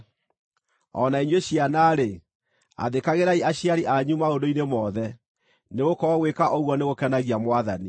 O na inyuĩ ciana-rĩ, athĩkagĩrai aciari anyu maũndũ-inĩ mothe, nĩgũkorwo gwĩka ũguo nĩgũkenagia Mwathani.